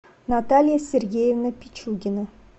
наталья сергеевна пичугина